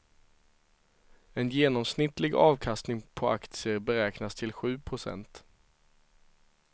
En genomsnittlig avkastning på aktier beräknas till sju procent.